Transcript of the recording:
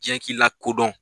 Diɲɛ k'i lakodɔn